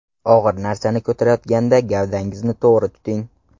Og‘ir narsani ko‘tarayotganda gavdangizni to‘g‘ri tuting.